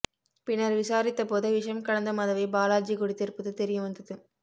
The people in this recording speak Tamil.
பின்னர் விசாரித்தபோது விஷம் கலந்த மதுவை பாலாஜி குடித்திருப்பது தெரியவந்தது